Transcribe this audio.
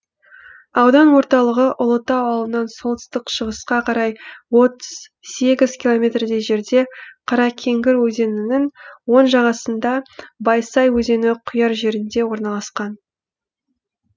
аудан орталығы ұлытау ауылынан солтүстік шығысқа қарай отыз сегіз километрдей жерде қаракеңгір өзенінің оң жағасында байсай өзені құяр жерінде орналасқан